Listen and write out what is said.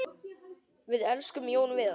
Við elskum öll Jón Viðar.